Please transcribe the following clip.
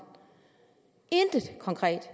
intet konkret